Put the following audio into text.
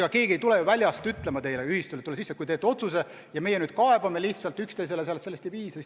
Ega keegi ei tule ju väljast ühistule ütlema, et kui teete otsuse ja teie hakkate seal lihtsalt üksteise peale kaebama, siis me aitame.